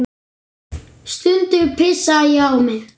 Stundum pissaði ég á mig.